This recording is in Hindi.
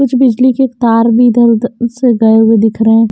कुछ बिजली के तार भी इधर-उध रसे गए हुए दिख रहे हैं।